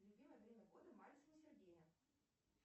любимое время года мальцева сергея